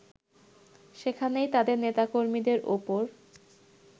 সেখানেই তাদের নেতাকর্মীদের ওপর